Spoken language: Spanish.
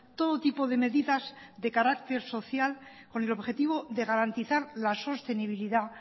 todo tipo de medidas de carácter social con el objetivo de garantizar la sostenibilidad